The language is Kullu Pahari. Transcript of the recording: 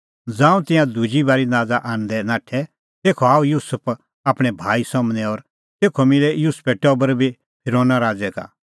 ज़ांऊं तिंयां दुजी बारी नाज़ा आणदै नाठै तेखअ आअ युसुफ आपणैं भाई सम्हनै और तेखअ मिलै युसुफे टबर बी फिरोना राज़ै का